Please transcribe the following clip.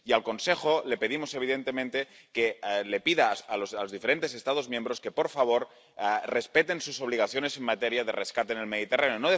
Y al Consejo le pedimos, evidentemente, que pida a los diferentes Estados miembros que, por favor, respeten sus obligaciones en materia de rescate en el Mediterráneo